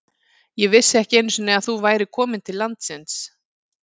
Ég vissi ekki einu sinni að þú værir komin til landsins.